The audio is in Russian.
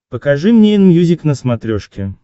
покажи мне энмьюзик на смотрешке